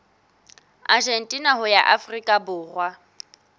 argentina ho ya afrika borwa